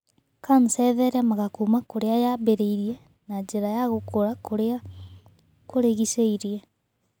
kanca ĩtheremaga kuuma kũrĩa yambĩrĩrie na njĩra ya gũkũra kũrĩa kũrigicĩirie.